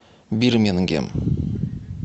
бирмингем